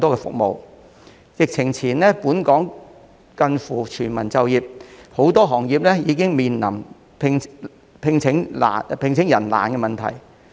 在疫情前，本港近乎全民就業，但很多行業已面對難以聘請員工的問題。